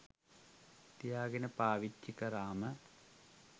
තියාගෙන පාවිච්චි කරාම